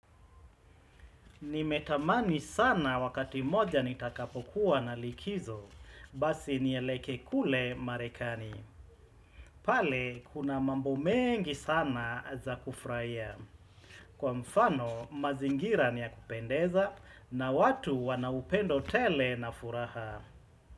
Nimetamani sana wakati mmoja nitakapokuwa na likizo, basi nielekee kule marekani. Pale, kuna mambo mengi sana za kufurahia. Kwa mfano, mazingira ni ya kupendeza na watu wana upendo tele na furaha.